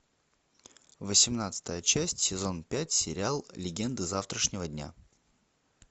восемнадцатая часть сезон пять сериал легенды завтрашнего дня